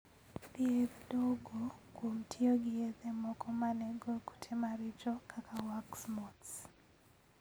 Thiedh duogo kuom tiyo gi yedhe moko ma nego kutemaricho kaka wax moths.